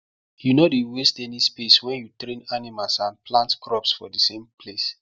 you nor dey waste any space wen you train animals and plant crops for thesame place